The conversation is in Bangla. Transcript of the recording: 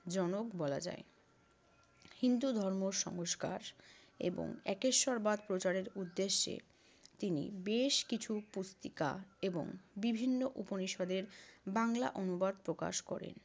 জনক বলা যায়। হিন্দু ধর্ম সংস্কার এবং একেশ্বরবাদ প্রচারের উদ্দেশ্যে তিনি বেশ কিছু পত্রিকা এবং বিভিন্ন উপনিষদের বাংলা অনুবাদ প্রকাশ করেন।